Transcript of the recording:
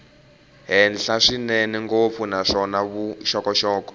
henhla swinene ngopfu naswona vuxokoxoko